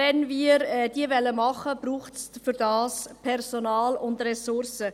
Wenn wir diese erledigen wollen, braucht es dazu Personal und Ressourcen.